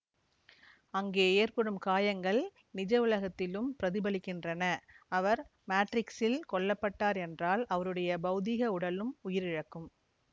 அங்கே ஏற்படும் காயங்கள் நிஜ உலகத்திலும் பிரதிபலிக்கின்றன அவர் மேட்ரிக்ஸில் கொல்ல பட்டார் என்றால் அவருடைய பௌதீக உடலும் உயிரிழக்கும்